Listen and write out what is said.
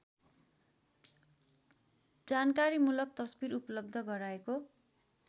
जानकारीमूलक तस्बिर उपलब्ध गराएको